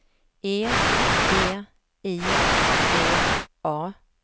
E V I G A